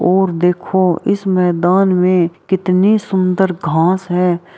और देखो इस मैदान में कितने सुंदर घास हैं।